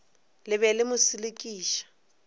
le be le mo selekiša